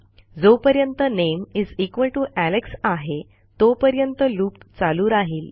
जोपर्यंत नामे Alexआहे तोपर्यंत लूप चालू राहिल